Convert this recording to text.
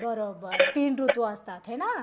बरोबर तीन ऋतू असतात हे ना?